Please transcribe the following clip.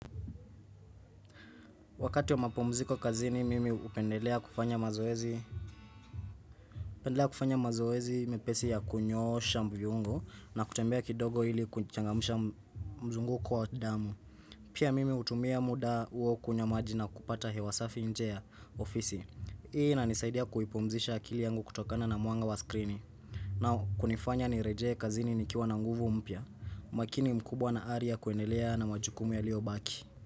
Wakati ya mapomziko kazini, mimi upendelea kufanya mazoezi. Upendelea kufanya mazoezi, mepesi ya kunyoosha mviyungo na kutembea kidogo ili kuchangamisha mzunguko wa damu. Pia mimi utumia muda uo kunywa maji na kupata hewa safi nje ya ofisi. Hii inaisaidia kuipumzisha akili yangu kutokana na muanga wa skrini. Nau kunifanya nireje kazini nikiwa na nguvu mpya, makini mkubwa na aria kuendelea na majukumu yalio baki.